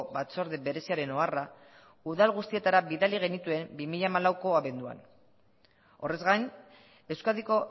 batzorde bereziaren oharra udal guztietara bidali genituen bi mila hamalauko abenduan horrez gain euskadiko